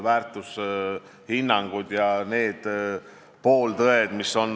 Veel tooksin siia loetellu Brexiti.